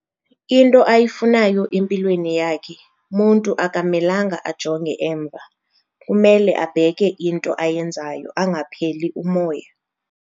Into ayifunayo empilweni yakhe muntu akamelanga ajonge emva kumele abheke into ayenzayo angapheli umoya.